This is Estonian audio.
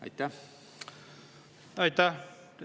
Aitäh!